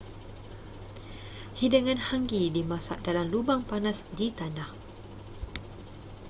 hidangan hangi dimasak dalam lubang panas di tanah